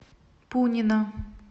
пунина